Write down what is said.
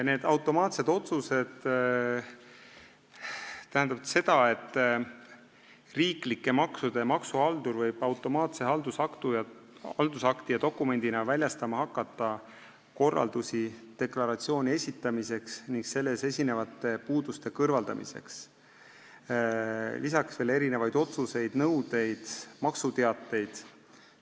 Need automaatsed otsused tähendavad seda, et riiklike maksude haldur võib automaatse haldusakti ja dokumendina väljastama hakata korraldusi deklaratsiooni esitamiseks ning selles esinevate puuduste kõrvaldamiseks, peale selle veel kõiksugu otsuseid, nõudeid ja maksuteateid.